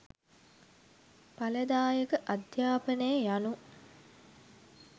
ඵලදායක අධ්‍යාපනය යනු